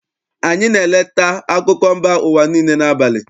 AnyỊ na-eleta akụkọ mba ụwa niile n'abalị.